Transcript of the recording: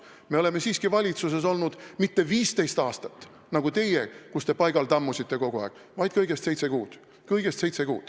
Me oleme siiski valitsuses olnud mitte 15 aastat, nagu teie, kes te kogu aeg paigal tammusite, vaid kõigest seitse kuud.